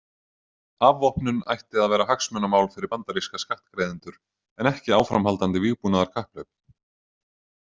Afvopnun ætti að vera hagsmunamál fyrir bandaríska skattgreiðendur en ekki áframhaldandi vígbúnaðarkapphlaup.